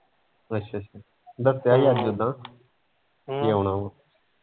ਅੱਛਾ ਅੱਛਾ ਦੱਸਿਆ ਹੀ ਅੱਜ ਉੱਦਾ ਵੀ ਆਉਣਾ ਵਾ